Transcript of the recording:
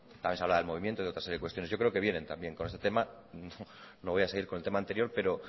también se hablaba del movimiento y de otra serie de cuestiones yo creo que vienen también con este tema no voy a seguir con el tema anterior pero